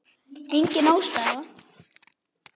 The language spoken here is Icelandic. Engin ástæða?